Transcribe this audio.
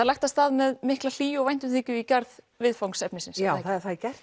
lagt af stað með mikla hlýju í garð viðfangsefnisins já það er gert